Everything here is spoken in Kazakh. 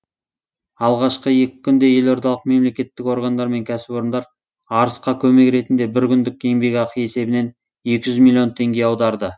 алғашқы екі күнде елордалық мемлекеттік органдар мен кәсіпорындар арысқа көмек ретінде бір күндік еңбекақы есебінен екі жүз миллион теңге аударды